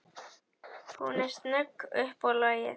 Hún er snögg upp á lagið.